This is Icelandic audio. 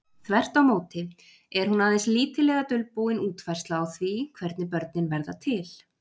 Þvert á móti er hún aðeins lítillega dulbúin útfærsla á því hvernig börnin verða til.